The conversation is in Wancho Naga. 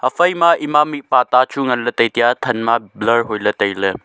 phai ema mihpa ta chu ngan ley tai tiga thanma blur hoi ley tai ley.